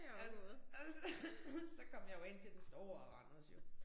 Ja og så så kom jeg jo ind til den store Randers jo